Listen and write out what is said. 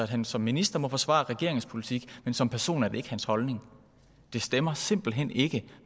han som minister må forsvare regeringens politik men som person er det ikke hans holdning det stemmer simpelt hen ikke